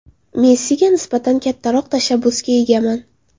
Messiga nisbatan kattaroq tashabbusga egaman.